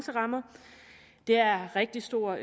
det er af rigtig stor